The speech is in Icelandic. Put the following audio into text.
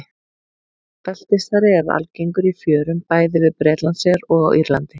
Beltisþari er algengur í fjörum bæði við Bretlandseyjar og á Írlandi.